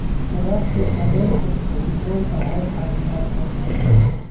Khudaarta caleentu waxay u roon tahay caafimaadka.